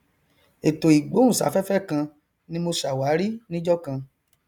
ètò ìgbóhùn sáfẹfẹ kan ni mo sàwárí níjọkan